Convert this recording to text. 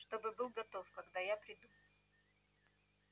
чтобы был готов когда я приду